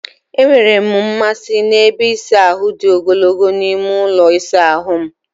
Enwere m mmasị n'ebe ịsa ahụ dị ogologo n'ime ụlọ ịsa ahụ m.